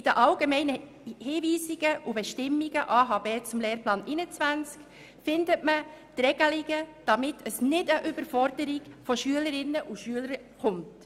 In den Allgemeinen Hinweisen und Bestimmungen (AHB) zum Lehrplan 21 findet man die Regelungen, die verhindern, dass es zu einer Überforderung der Schülerinnen und Schüler kommt.